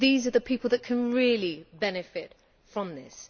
These are the people that can really benefit from this.